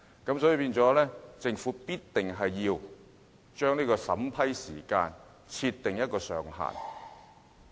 因此，政府一定要為審批時間設定上限。